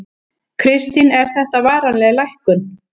Kristín: Er þetta varanleg lækkun?